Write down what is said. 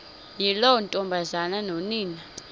yiloo ntombazana nonina